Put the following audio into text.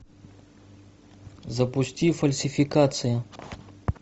запусти фальсификации